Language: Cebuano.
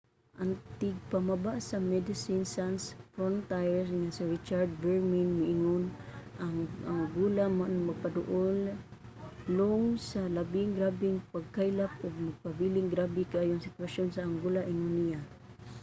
ang tigpamaba sa medecines sans frontiere nga si richard veerman miingon: ang angola nagpadulong sa labing grabeng pagkaylap ug nagpabilinng grabe kaayo ang sitwasyon sa angola, ingon niya